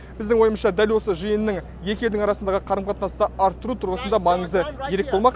біздің ойымызша дәл осы жиынның екі елдің арасындағы қарым қатынасты арттыру тұрғысында маңызы ерек болмақ